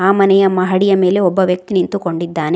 ಆ ಮನೆಯ ಮಹಡಿಯ ಮೇಲೆ ಒಬ್ಬ ವ್ಯಕ್ತಿ ನಿಂತುಕೊಂಡಿದ್ದಾನೆ.